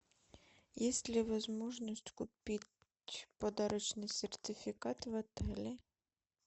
есть ли возможность купить подарочный сертификат в отеле